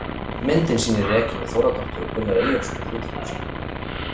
Myndin sýnir Regínu Þórðardóttur og Gunnar Eyjólfsson í hlutverkum sínum.